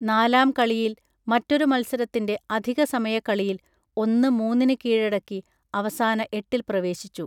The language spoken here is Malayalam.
നാലാം കളിയിയൽ മറ്റൊരു മൽസരത്തിൻറെ അധികസമയക്കളിയിൽ ഒന്ന് മൂന്നിനു കീഴടക്കി അവസാന എട്ടിൽ പ്രവേശിച്ചു